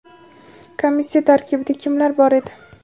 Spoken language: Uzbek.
komissiya tarkibida kimlar bor edi?.